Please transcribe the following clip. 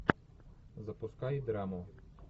запускай драму